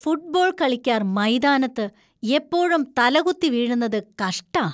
Football കളിക്കാർ മൈതാനത്ത് എപ്പോഴും തലകുത്തി വീഴുന്നത് കഷ്ടാ.